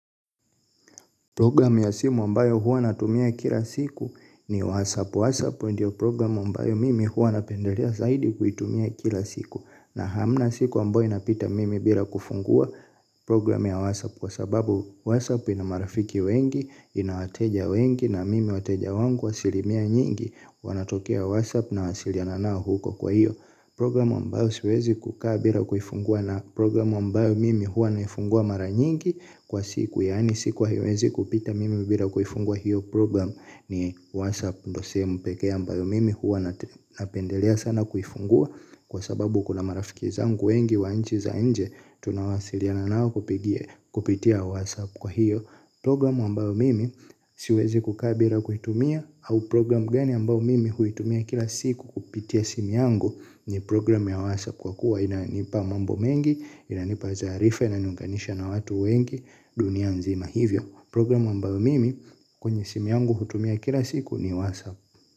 Program ya simu ambayo huwa natumia kila siku ni WhatsApp. WhatsApp ndio program ambayo mimi huwa napendelea zaidi kuitumia kila siku. Na hamna siku ambayo inapita mimi bila kufungua program ya WhatsApp kwa sababu WhatsApp ina marafiki wengi, ina wateja wengi na mimi wateja wangu asilimia nyingi, wanatokea WhatsApp na wasiliana nao huko kwa hiyo. Programu ambayo siwezi kukaa bila kuhifungua na programu ambayo mimi huwa naifungua mara nyingi kwa siku yaani siku haiwezi kupita mimi bila kuifungua hiyo program ni whatsapp ndio sehemu peke ambayo mimi huwa napendelea sana kuifungua kwa sababu kuna marafiki zangu wengi wa nchi za nje tunawasiliana nao kupitia whatsapp kwa hiyo. Programu ambao mimi siwezi kukaa bila kuitumia. Au programu gani ambayo mimi kuitumia kila siku kupitia simi yangu. Ni programu ya WhatsApp kwa kuwa ina nipa mambo mengi. Ina nipa taarifa na niunganisha na watu wengi dunia nzima hivyo. Programu ambao mimi kwenye simu yangu hutumia kila siku ni WhatsApp.